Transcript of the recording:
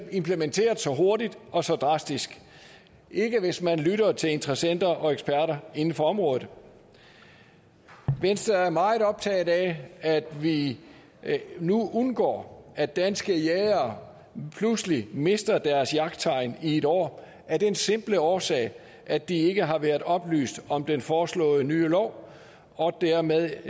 implementeret så hurtigt og så drastisk ikke hvis man lytter til interessenter og eksperter inden for området venstre er meget optaget af at vi nu undgår at danske jægere pludselig mister deres jagttegn i et år af den simple årsag at de ikke har været oplyst om den foreslåede nye lov og dermed ikke